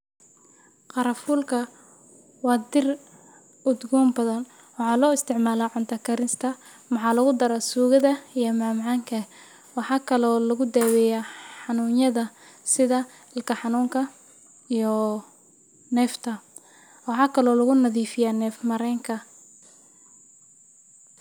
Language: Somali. Qaranfuulka waa dhir udgoon badhan , waxa isticmaalo Cunto karinta Waxaa lagu daraa suugada, iyo macmacaanka waxaa kale oo lugudaweyaah xanuunyadha sidha ilkaha xanunka xanuunka, iyo neefta, waxaa kalo lugunadifiyah , nef marenka.